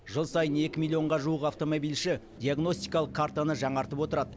жыл сайын екі миллионға жуық автомобильші диагностикалық картаны жаңартып отырады